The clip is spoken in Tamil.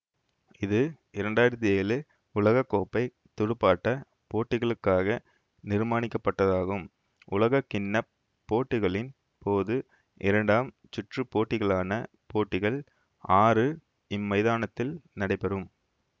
இது இரண்டாயிரத்தி ஏழு உலக கோப்பை துடுப்பாட்ட போட்டிகளுக்காக நிர்மானிக்கப்பட்டதாகும் உலகக்கிண்ண போட்டிகளின் போது இரண்டாம் சுற்றுப்போட்டிகளான போட்டிகள் ஆறு இம்மைதானதில் நடைபெறும்